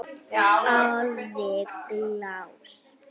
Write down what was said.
Alveg glás.